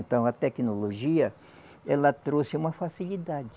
Então a tecnologia, ela trouxe uma facilidade.